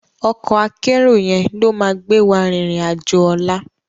Òkò àkèéró yèn ló má gbéwá ririn àjó òlá